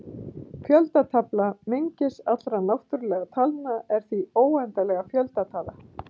fjöldatala mengis allra náttúrulegra talna er því óendanleg fjöldatala